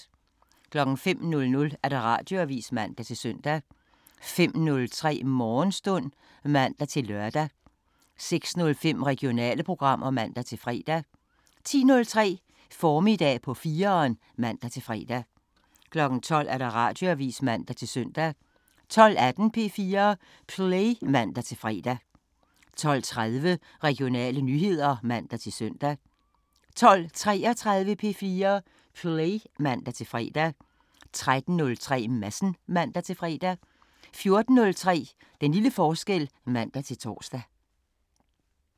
05:00: Radioavisen (man-søn) 05:03: Morgenstund (man-lør) 06:05: Regionale programmer (man-fre) 10:03: Formiddag på 4'eren (man-fre) 12:00: Radioavisen (man-søn) 12:18: P4 Play (man-fre) 12:30: Regionale nyheder (man-søn) 12:33: P4 Play (man-fre) 13:03: Madsen (man-fre) 14:03: Den lille forskel (man-tor)